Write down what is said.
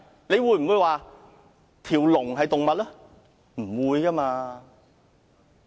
你會否說龍是動物嗎？